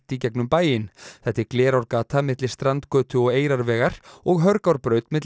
í gegnum bæinn þetta er Glerárgata milli strandgötu og Eyrarvegar og Hörgárbraut milli